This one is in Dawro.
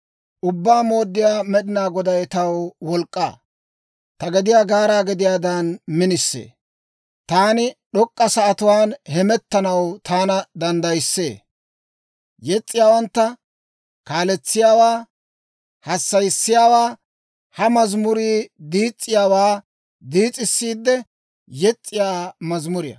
Ubbaa Mooddiyaa Med'ina Goday taw wolk'k'aa; ta gediyaa gaaraa gediyaadan minisee; taani d'ok'k'a sa'atuwaan hemettanaw taana danddayissee. (Yes's'iyaawantta kaaletsiyaawaa hassayissiyaawaa: ha mazamurii diis's'iyaawaa diis's'iidde yes's'iyaa mazimuriyaa.)